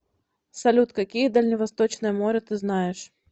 салют какие дальневосточное море ты знаешь